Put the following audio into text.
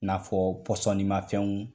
N'afɔ pɔsɔni ma fɛnw .